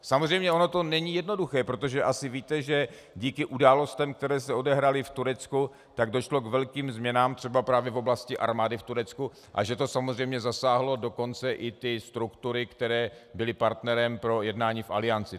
Samozřejmě, ono to není jednoduché, protože asi víte, že díky událostem, které se odehrály v Turecku, tak došlo k velkým změnám třeba právě v oblasti armády v Turecku a že to samozřejmě zasáhlo dokonce i ty struktury, které byly partnerem pro jednání v Alianci.